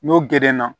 N'o gerenna